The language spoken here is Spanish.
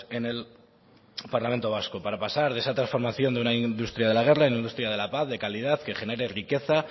en el parlamento vasco para pasar de esa transformación de una industria de la guerra en una industria de la paz de calidad que genere riqueza